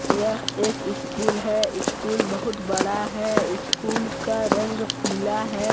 यह एक इस्कूल है। इस्कूल बहुत बड़ा है। इस्कूल का रंग पीला है।